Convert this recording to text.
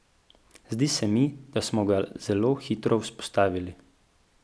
Zdi se mi, da smo ga zelo hitro vzpostavili.